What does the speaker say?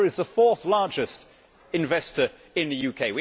India is the fourth largest investor in the UK.